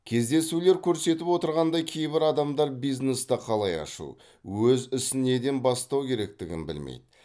кездесулер көрсетіп отырғандай кейбір адамдар бизнесті қалай ашу өз ісін неден бастау керектігін білмейді